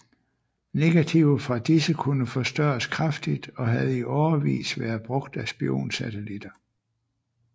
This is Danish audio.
Negativer fra disse kunne forstørres kraftigt og havde i årevis været brugt af spionsatellitter